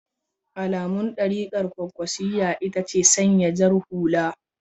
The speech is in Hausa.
Alamun darikar kwankwasiyya ita ce sanya jar hula.